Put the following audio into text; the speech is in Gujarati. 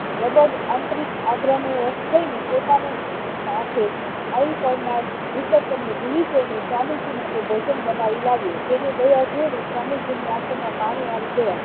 લગભગ આંતરિક આગ્રવિપત ને હ ને થાય ને પોતાની માથે આવી પાડનાર વિપત ને ભૂલીજઈ ને સ્વામીજી માટે ભોજન બનાવી લાવ્યો તેની દયા જોઈને સ્વામીજી ની આખોમાં પાણી આવીગયા